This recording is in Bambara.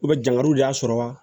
dangali y'a sɔrɔ wa